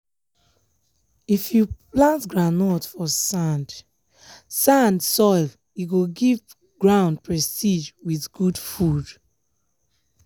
if you plant groundnut for sand-sand soil e go give ground prestige with good food.